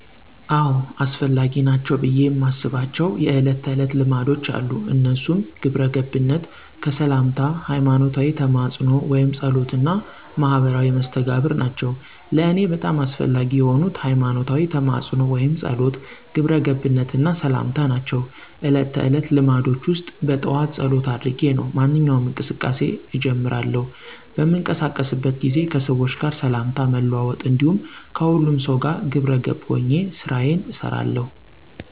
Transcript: አዎ! አስፈላጊ ናቸው ብየ የማስባቸው የእለት ተዕለት ልማዶች አሉ። እነሱም ግብረገብነት፣ ከሠላምታ፣ ሀይማኖታዊ ተማፅኖ ወይም ፀሎት እና ማህበራዊ መስተጋብር ናቸው። ለእኔ በጣም አስፈላጊ የሆኑት፦ ሀይማኖታዊ ተማፅኖ ወይም ፀሎት፣ ግብረ ገብነት እና ሠላምታ ናቸው። እለት ተዕለት ልማዶቸ ውስጥ በጠዋት ፀሎት አድርጌ ነው ማንኛውንም እንቅስቃሴ እጀምራለሁ። በምንቀሳቀስበት ጊዜ ከሠዎች ጋር ሠላምታ መለዋወጥ እንዲሁም ከሁሉም ጋር ግብረ ገብ ሆኘ ስራየን እሠራለሁ።